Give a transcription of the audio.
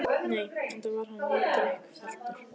Nei, enda var hann mjög drykkfelldur